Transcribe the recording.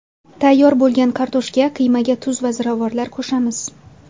Tayyor bo‘lgan kartoshka qiymaga tuz va ziravorlar qo‘shamiz.